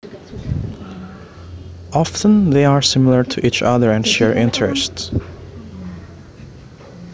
Often they are similar to each other and share interests